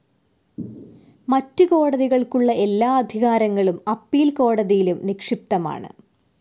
മറ്റ് കോടതികൾക്കുള്ള എല്ലാ അധികാരങ്ങളും അപ്പീൽ കോടതിയിലും നിക്ഷിപ്തമാണ്.